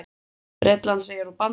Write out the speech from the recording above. Bretlandseyjar og Bandaríkin.